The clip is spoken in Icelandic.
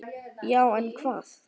Já en hvað?